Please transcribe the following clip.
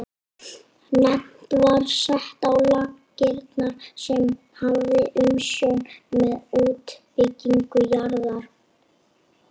Nefnd var sett á laggirnar sem hafði umsjón með útbýtingu jarða.